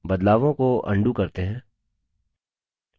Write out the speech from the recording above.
बदलावों को अन्डू करते हैं